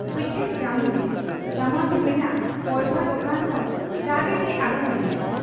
ᱢᱤᱫᱴᱟᱹᱝ ᱠᱟᱹᱢᱤᱢᱮ, ᱥᱟᱢᱟᱝᱨᱮ ᱢᱮᱱᱟᱜ ᱯᱚᱨᱵᱷᱟ ᱫᱚᱠᱟᱱ ᱠᱷᱚᱱ ᱪᱟ ᱜᱮ ᱠᱟᱹᱡ ᱟᱹᱜᱩᱣᱟᱹᱧ ᱢᱮ ᱾